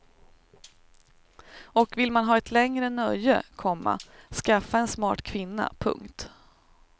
Och vill man ha ett längre nöje, komma skaffa en smart kvinna. punkt